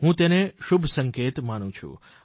હું તેને શુભસંકેત માનું છું